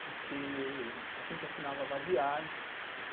Porque a gente assinava a vadiagem.